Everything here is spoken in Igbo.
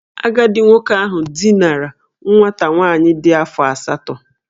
Agadi nwoke ahu dinara nwata nwaanyị di afo asatọ